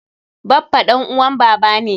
Baffa ɗan uwan baba ne.